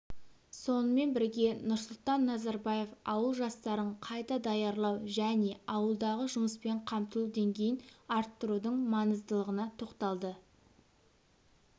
сонымен бірге нұрсұлтан назарбаев ауыл жастарын қайта даярлау және ауылдағы жұмыспен қамтылу деңгейін арттырудың маңыздылығына тоқталды